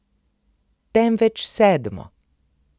Temveč sedmo.